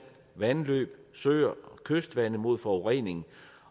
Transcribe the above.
vandløb søer og kystvande mod forurening